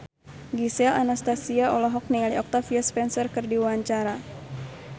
Gisel Anastasia olohok ningali Octavia Spencer keur diwawancara